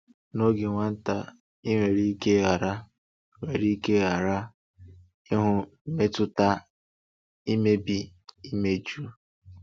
N’oge nwata, i nwere ike ghara nwere ike ghara ịhụ mmetụta imebi imeju.